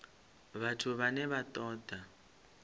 vhathu vhane vha ṱo ḓa